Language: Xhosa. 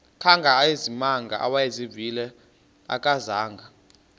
kangangezimanga awayezivile akazanga